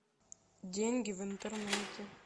деньги в интернете